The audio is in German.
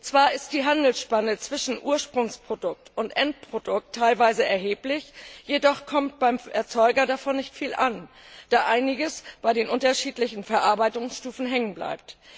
Zwar ist die Handelsspanne zwischen Ursprungs und Endprodukt teilweise erheblich, jedoch kommt beim Erzeuger davon nicht viel an, da einiges bei den unterschiedlichen Verarbeitungsstufen hängen bleibt.